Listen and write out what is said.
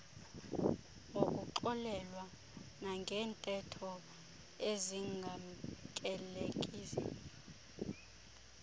ngokungxolelwa nangeentetho ezingamkelekiyo